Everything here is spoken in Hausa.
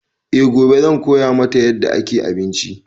E gobe zan koya mata yadda ake abinci